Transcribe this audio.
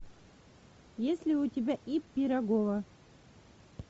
есть ли у тебя ип пирогова